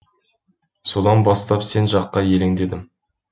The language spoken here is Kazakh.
содан бастап сен жаққа елеңдедім